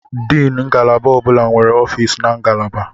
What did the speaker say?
Diini ngalaba ọ bụla nwere ọfịs na ngalaba.